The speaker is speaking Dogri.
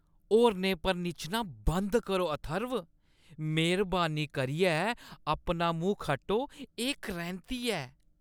होरनें पर निच्छना बंद करो, अथर्व। मेह्‌रबानी करियै अपना मूंह् खट्टो। एह् करैंह्‌ती ऐ।